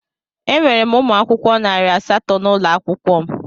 Enwere m ụmụ akwụkwọ narị asatọ n'ụlọ akwụkwọ m.